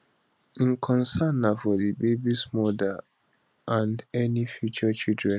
im concern na for di babies mother and any future children